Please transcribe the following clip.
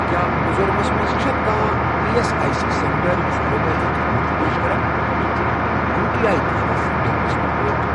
کیٛاہ میٖزورامس مَنٛز چھا کانٛہہ E S I C centre یُس ایٚلوپیتھی خدمت چھُ پیش کران تہٕ چھُکھ یوٗ ٹی آی تِہنٛدِ سینٹر قٕسمٕک پٲٹھۍ؟